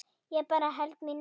Ég bara held mínu striki.